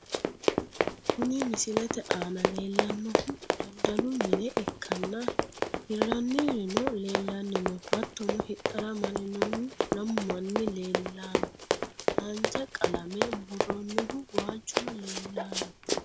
kuni misilete aana leellannohu daddalu mine ikkanna, hirrannirino leellanni no, hattono hidhara marinohu lamu manni leellanno. haanja qalame buurroonnihu waalchuno leellanno.